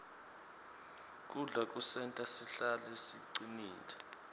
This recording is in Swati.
kudla kusenta sihlale sicinile